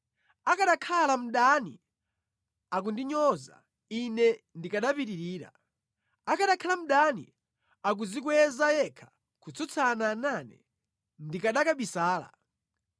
Akanakhala mdani akundinyoza, ine ndikanapirira; akanakhala mdani akudzikweza yekha kutsutsana nane, ndikanakabisala.